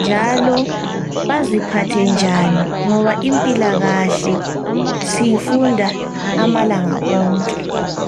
njalo baziphathe njani ngoba impilakahle siyifunda amalanga wonke.